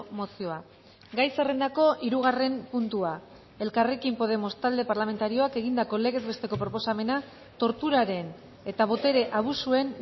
mozioa gai zerrendako hirugarren puntua elkarrekin podemos talde parlamentarioak egindako legez besteko proposamena torturaren eta botere abusuen